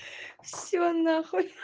все нахуй